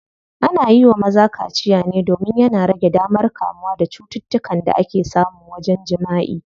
Ana yiwa maza kaciya ne domin yana rage damar kamuwa da cututtukan da ake samu wajen jimaʼi.